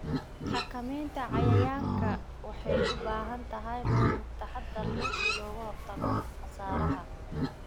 Xakamaynta cayayaanka waxay u baahan tahay maamul taxadar leh si looga hortago khasaaraha.